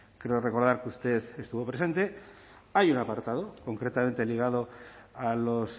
creo recordar que usted estuvo presente hay un apartado concretamente ligado a los